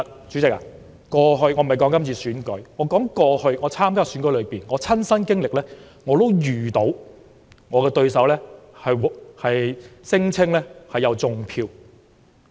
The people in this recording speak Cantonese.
主席，我不是說今次選舉，我想說在過去我曾參加的選舉中，我也遇過對手聲稱有"種票"的情況。